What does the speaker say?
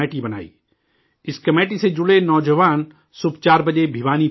اس کمیٹی سے جڑے نوجوان صبح 4 بجے بھوانی پہنچ جاتے ہیں